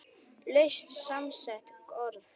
Laust samsett orð